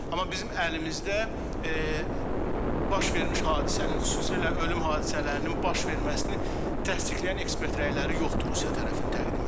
Amma bizim əlimizdə baş vermiş hadisənin, xüsusilə ölüm hadisələrinin baş verməsini təsdiqləyən ekspert rəyləri yoxdur Rusiya tərəfindən təqdim elədiyi.